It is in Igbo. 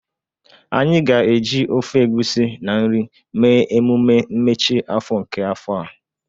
Anyị ga-eji ofe egusi na nri mee emume mmechi afọ nke afọ a.